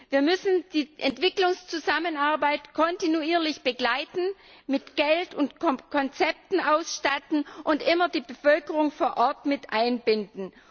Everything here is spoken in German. Wir müssen die Entwicklungszusammenarbeit kontinuierlich begleiten, mit Geld und Konzepten ausstatten und immer die Bevölkerung vor Ort mit einbinden.